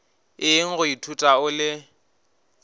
eng go ithuta o le